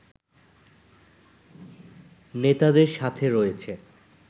নেতাদের সাথে রয়েছে